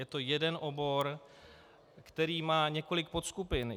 Je to jeden obor, který má několik podskupin.